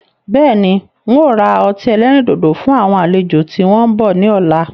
Bẹ́ẹ̀ni, ń ó ra ọtí ẹlẹ́rìndòdò fún àwọn àlejò tí wọn bọ̀ ni ọ̀la.